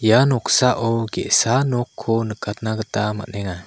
ia noksao ge·sa nokko nikatna gita man·enga.